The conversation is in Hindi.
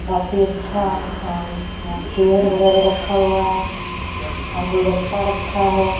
काफी अच्छा अ चेयर वगैरह रखा हुआ है गुलदस्ता रखा है।